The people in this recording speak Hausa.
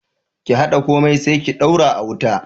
Ki haɗa komai sai ki daura a wuta